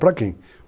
Para quem?